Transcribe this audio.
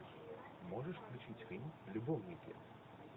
можешь включить фильм любовники